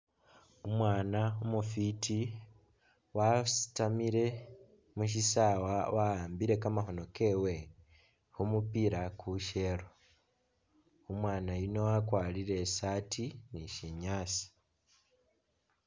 Umwaana umufwiti wasitamile mu syisaawa wa'ambile kamakhono kewe khu mupila kusyeelo, umwaana yuno wakwarire i'saati ni syinyaasa.